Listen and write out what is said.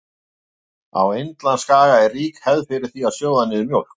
Á Indlandsskaga er rík hefð er fyrir því að sjóða niður mjólk.